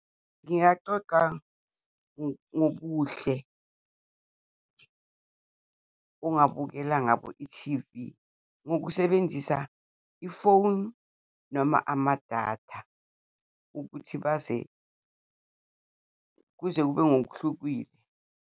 Ngingacoca ngobuhle ongabukela ngabo ithivi, ngokusebenzisa ifoni noma amadata ukuthi kuze kube ngokuhlukile.